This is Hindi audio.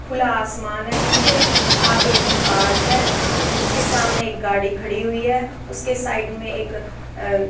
खुला आसमान है पीछे आगे एक पार्क है उसके सामने एक गाड़ी खड़ी हुई है उसके साइड में एक --